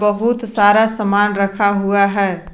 बहुत सारा सामान रखा हुआ है।